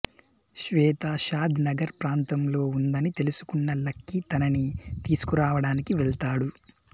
శ్వేత షాద్ నగర్ ప్రాంతంలో ఉందని తెలుసుకున్న లక్కీ తనని తీసుకురావడానికి వెళ్తాడు